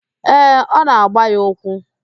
Ee, ọ na-agba ya ụkwụ.